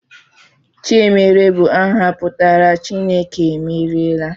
Chiemerie bụ aha pụtara 'Chineke emeriela'